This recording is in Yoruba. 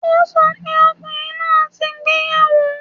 O sọ pé ọkùnrin náà ti gbéyàwó